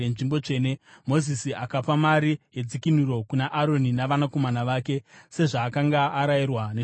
Mozisi akapa mari yedzikinuro kuna Aroni navanakomana vake, sezvaakanga arayirwa neshoko raJehovha.